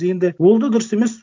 енді ол да дұрыс емес